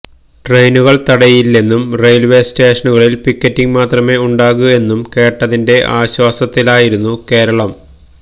ട്രെയിനുകൾ തടയില്ലെന്നും റെയിൽവേ സ്റ്റേഷനുകളിൽ പിക്കറ്റിങ് മാത്രമേ ഉണ്ടാകൂ എന്നും കേട്ടതിന്റെ ആശ്വാസത്തിലായിരുന്നു കേരളം